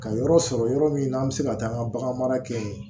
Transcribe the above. Ka yɔrɔ sɔrɔ yɔrɔ min na an bɛ se ka taa an ka bagan mara kɛ